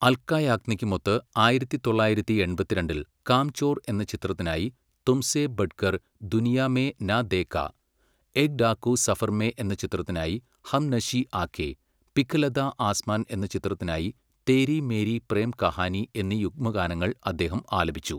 അൽക്ക യാഗ്നിക്കുമൊത്ത് ആയിരത്തി തൊള്ളായിരത്തി എൺപത്തിരണ്ടിൽ കാംചോർ എന്ന ചിത്രത്തിനായി 'തുമ്സേ ബഡ്കർ ദുനിയാ മേ നാ ദേഖാ', 'ഏക് ഡാകു സഫർ മേ ' എന്ന ചിത്രത്തിനായി 'ഹംനശി ആക്കേ', പിഘലതാ ആസ്മാൻ എന്ന ചിത്രത്തിനായി 'തേരി മേരി പ്രേം കഹാനി' എന്നീ യുഗ്മഗാനങ്ങൾ അദ്ദേഹം ആലപിച്ചു.